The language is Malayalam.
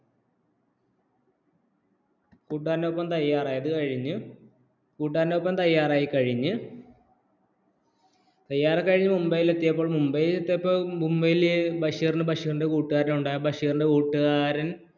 കൂട്ടുകാരൻ ഒപ്പം തയ്യാറായി കഴിഞ്ഞ് കൂട്ടായരോടാനൊപ്പം തയ്യാറായിക്കഴിഞ്ഞു തയ്യാർ കഴിഞ്ഞ് മുംബൈയിലെത്തിയപ്പോൾ മുംബൈയിലെത്തിയപ്പോൾ മുംബൈയിലെ ബഷീറിനു ബഷീറിന്റെ കൂട്ടുകാരൻ ഉണ്ടായിരുന്നു ആ കൂട്ടുകാരൻ